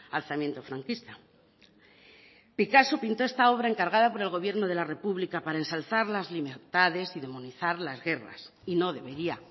alzamiento franquista picasso pintó esta obra encargada por el gobierno de la república para ensalzar las libertades y demonizar las guerras y no debería